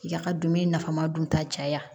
Ya ka dumuni nafama dun ta caya